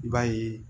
I b'a ye